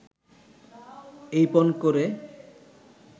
এই পণ করে